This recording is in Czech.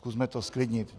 Zkusme to zklidnit.